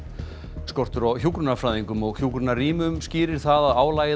skortur á hjúkrunarfræðingum og hjúkrunarrýmum skýrir það að álagið á